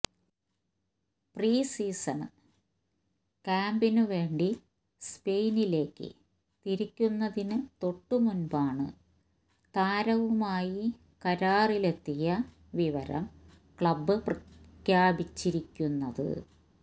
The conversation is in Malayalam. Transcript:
പ്രീ സീസണ് ക്യാമ്പിന് വേണ്ടി സ്പെയിനിലേക്ക് തിരിക്കുന്നതിന് തൊട്ടുമുമ്പാണ് താരവുമായി കരാറിലെത്തിയ വിവരം ക്ലബ് പ്രഖ്യാപിച്ചിരിക്കുന്നത്